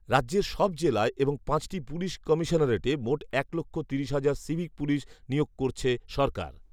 রাজ্যের সব জেলায় এবং পাঁচটি পুলিস কমিশনারেটে মোট এক লক্ষ তিরিশ হাজার সিভিক পুলিস নিয়োগ করছে সরকার